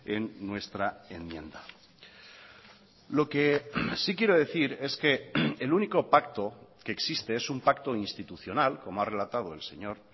en nuestra enmienda lo que sí quiero decir es que el único pacto que existe es un pacto institucional como ha relatado el señor